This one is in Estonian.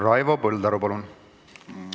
Raivo Põldaru, palun!